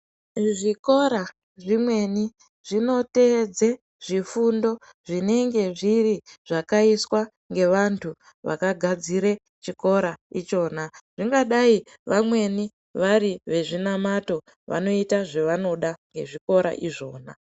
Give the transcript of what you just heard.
Zvikora zvimweni zvinoteedze zvifundo zvinenge zviri zvakaiswa ngevantu vakagadzire chikora ichona zvingadai vamweni vari vezvinamato vanoita zvavanoda ngezvikora izvona.